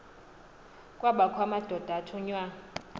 kwabakho amadoda athunywa